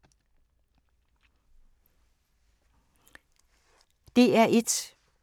DR1